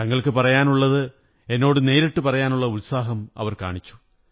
തങ്ങള്ക്കുള പറയാനുള്ളത് എന്നോടു നേരിട്ടു പറയാനുള്ള ഉത്സാഹം കാണിച്ചു